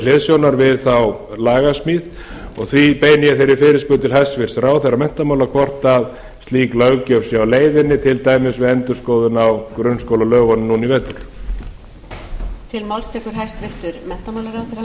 hliðsjónar við þá lagasmíð og því beini ég þeirri fyrirspurn til hæstvirts ráðherra menntamála hvort slík löggjöf sé á leiðinni til dæmis við endurskoðun á grunnskólalögunum núna í vetur